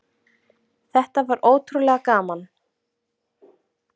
Þetta var ótrúlega gaman